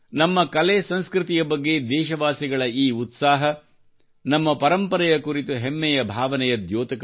ಸಂಸ್ಕೃತಿಯ ಬಗ್ಗೆ ದೇಶವಾಸಿಗಳ ಈ ಉತ್ಸಾಹವು ನಮ್ಮ ಪರಂಪರೆಯ ಕುರಿತು ಹೆಮ್ಮೆಯ ಭಾವನೆಯ ದ್ಯೋತಕವೇ ಆಗಿದೆ